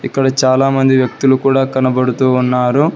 ఇక్కడ చాలామంది వ్యక్తులు కూడా కనబడుతూ ఉన్నారు.